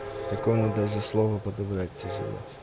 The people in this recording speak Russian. такому даже слово подобрать тяжело